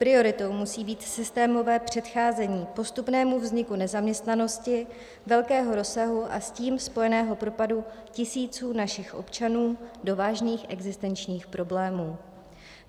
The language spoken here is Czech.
Prioritou musí být systémové předcházení postupnému vzniku nezaměstnanosti velkého rozsahu a s tím spojeného propadu tisíců našich občanů do vážných existenčních problémů.